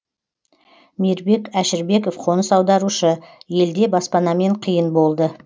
мейірбек әшірбеков қоныс аударушы елде баспанамен қиын болды